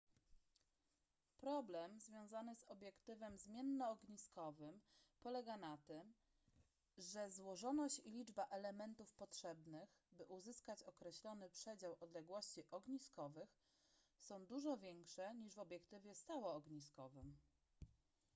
problem związany z obiektywem zmiennoogniskowym polega na tym że złożoność i liczba elementów potrzebnych by uzyskać określony przedział odległości ogniskowych są dużo większe niż w obiektywie stałoogniskowym